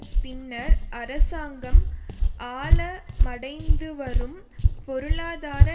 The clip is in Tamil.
பின்னர் அரசாங்கம் ஆழமடைந்துவரும் பொருளாதார